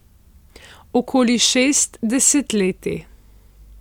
Okoli šest desetletij.